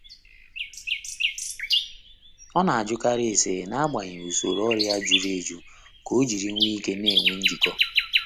Ọ n'ajụkarị ese n’agbanyeghị usoro ọrụ ya juru eju k'ojiri nw'ike n'enwe njikọ.